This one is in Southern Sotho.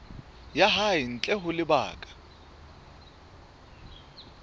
ya hae ntle ho lebaka